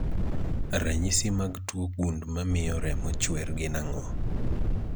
Ranyisi mag tuo gund mamio remo chwer gin ang'o?